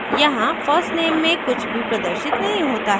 यहाँ first _ name में कुछ भी प्रदर्शित नहीं होता है